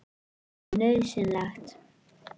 Það er nauðsynlegt.